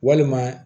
Walima